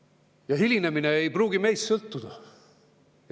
Ja hilinemine ei pruugi sõltuda meist.